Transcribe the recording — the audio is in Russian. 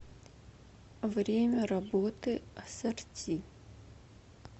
время работы ассорти